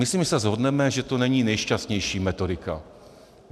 Myslím, že se shodneme, že to není nejšťastnější metodika.